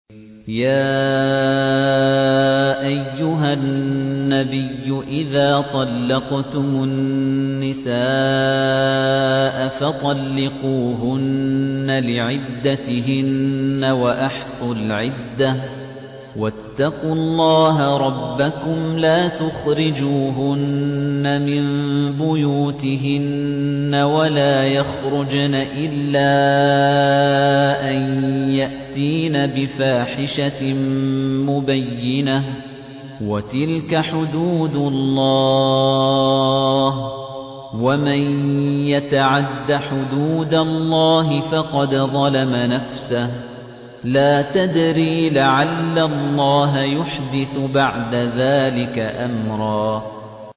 يَا أَيُّهَا النَّبِيُّ إِذَا طَلَّقْتُمُ النِّسَاءَ فَطَلِّقُوهُنَّ لِعِدَّتِهِنَّ وَأَحْصُوا الْعِدَّةَ ۖ وَاتَّقُوا اللَّهَ رَبَّكُمْ ۖ لَا تُخْرِجُوهُنَّ مِن بُيُوتِهِنَّ وَلَا يَخْرُجْنَ إِلَّا أَن يَأْتِينَ بِفَاحِشَةٍ مُّبَيِّنَةٍ ۚ وَتِلْكَ حُدُودُ اللَّهِ ۚ وَمَن يَتَعَدَّ حُدُودَ اللَّهِ فَقَدْ ظَلَمَ نَفْسَهُ ۚ لَا تَدْرِي لَعَلَّ اللَّهَ يُحْدِثُ بَعْدَ ذَٰلِكَ أَمْرًا